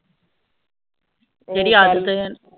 ਜੇਡੀ ਆਦਤ